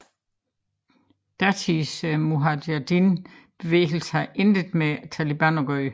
Datidens Mujahedin bevægelse har intet med Taliban at gøre